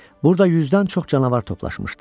Burda yüzdən çox canavar toplaşmışdı.